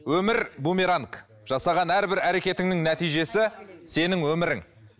өмір бумеранг жасаған әрбір әрекетіңнің нәтижесі сенің өмірің